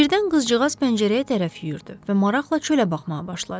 Birdən qızcığaz pəncərəyə tərəf yüyürdü və maraqla çölə baxmağa başladı.